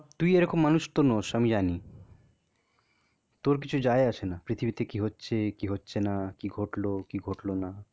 তুই এরকম মানুষ তো নস আমি জানি, তোর কিছু যায় আসে না. পৃথিবীতে কি হচ্ছে? কি হচ্ছে না? কি ঘটলো কি ঘটল না?